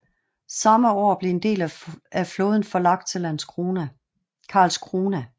Samme år blev en del af flåden forlagt til Karlskrona